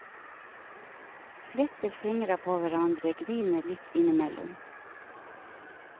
Fletter fingra på hverandre, griner litt innimellom.